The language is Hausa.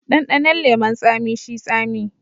Dandanon leman tsami shi tsami.